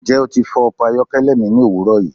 Njẹ o ti fọ ọkọ ayọkẹlẹ mi ni owurọ yi?